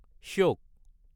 শ্যক